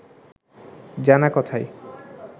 জানা কথাই